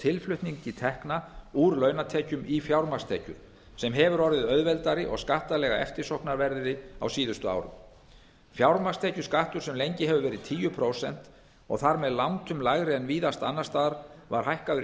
tilflutningi tekna úr launatekjum í fjármagnstekjur sem hefur orðið auðveldari og skattalega eftirsóknarverðari á síðustu árum fjármagnstekjuskattur sem lengi hefur verið tíu prósent og þar með langtum lægri en víðast annars staðar var hækkaður í